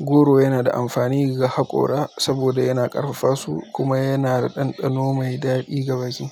Goro yana da amfani ga haƙora saboda yana ƙarfafa su kuma yana da ɗanɗano mai daɗi ga baki.